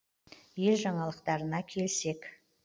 ел жаңалықтарына келсек